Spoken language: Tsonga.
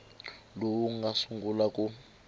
lowu wu nga sungula ku